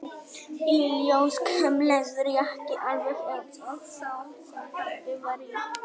Í ljós kom leðurjakki, alveg eins og sá sem pabbi var í.